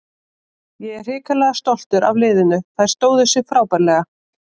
Ég er hrikalega stoltur af liðinu, þær stóðu sig frábærlega.